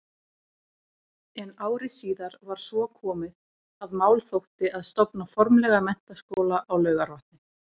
En ári síðar var svo komið, að mál þótti að stofna formlega menntaskóla á Laugarvatni.